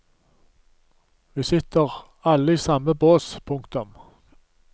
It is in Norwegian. Vi sitter alle i samme bås. punktum